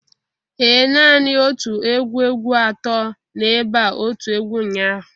Ee nani otu egwu egwu ato no ebea otu egwu ụnyahụ